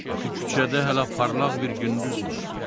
Axı küçədə hələ parlaq bir gündüz var.